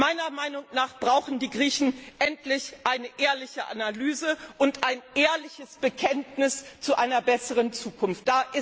Meiner Meinung nach brauchen die Griechen endlich eine ehrliche Analyse und ein ehrliches Bekenntnis zu einer besseren Zukunft.